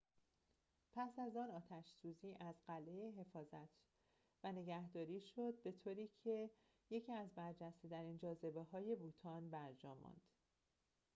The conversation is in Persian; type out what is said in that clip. پس از آن آتش‌سوزی از قلعه حفاظت و نگهداری شد به‌طوری که یکی از برجسته‌ترین جاذبه‌های بوتان برجا ماند